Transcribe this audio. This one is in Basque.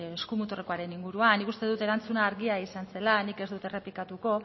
eskumuturrekoaren inguruan nik uste dut erantzuna argia izan zela nik ez dut errepikatuko